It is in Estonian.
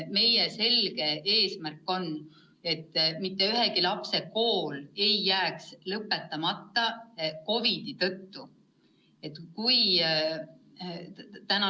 Meie selge eesmärk on, et mitte ühegi lapse kool ei jääks COVID-i tõttu lõpetamata.